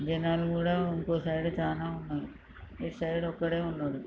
జనాలు కూడా ఇంకో సైడు చానా ఉన్నారు. ఇటు సైడు ఒక్కడే ఉన్నాడు.